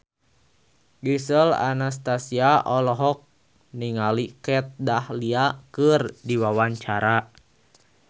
Gisel Anastasia olohok ningali Kat Dahlia keur diwawancara